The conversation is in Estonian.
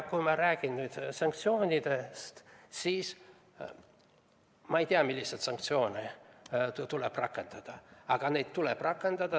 Kui ma räägin sanktsioonidest, siis ma ei tea, milliseid sanktsioone tuleb rakendada, aga neid tuleb rakendada.